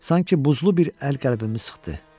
Sanki buzlu bir əl qəlbimi sıxdı.